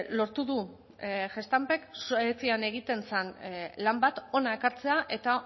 lortu du gestampek suezian egiten zen lan bat hona ekartzea eta